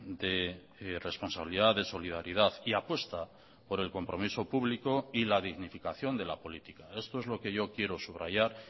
de responsabilidad de solidaridad y apuesta por el compromiso público y la dignificación de la política esto es lo que yo quiero subrayar